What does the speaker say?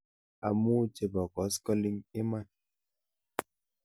Amu chebo koskoling' iman?